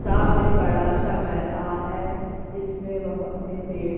सामने बड़ा सा मैदान है जिसमें बहोत से पेड़--